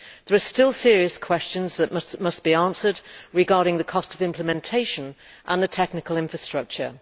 There are still serious questions that must be answered regarding the cost of implementation and the technical infrastructure.